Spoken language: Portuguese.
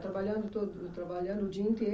Trabalhando todo, trabalhando o dia